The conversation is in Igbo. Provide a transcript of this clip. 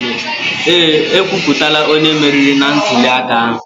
Ee, ekwuputala onye meriri na ntuliaka ahụ.